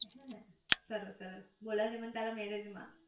હેને સરસ સરસ બોલાવ જે મને તારા મેરેજ માં